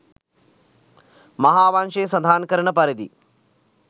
මහාවංශය සඳහන් කරන පරිදි